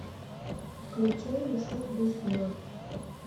включай мешок без дна